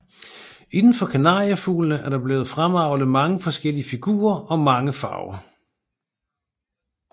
Inden for kanariefuglene er der blevet fremavlet mange forskellige figurer og mange farver